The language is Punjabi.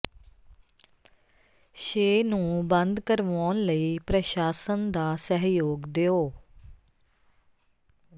ਸ਼ੇ ਨੰੂ ਬੰਦ ਕਰਵਾਉਣ ਲਈ ਪ੍ਰਸ਼ਾਸਨ ਦਾ ਸਹਿਯੋਗ ਦਿਓ